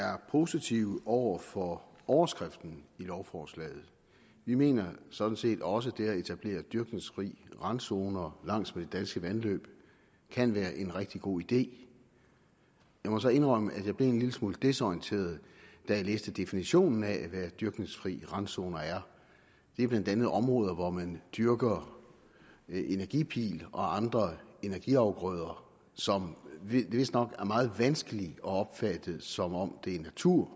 er positiv over for overskriften i lovforslaget vi mener sådan set også at det at etablere dyrkningsfri randzoner langs med danske vandløb kan være en rigtig god idé jeg må så indrømme at jeg blev en lille smule desorienteret da jeg læste definitionen af hvad dyrkningsfri randzoner er det er blandt andet områder hvor man dyrker energipil og andre energiafgrøder som vistnok er meget vanskelige at opfatte som natur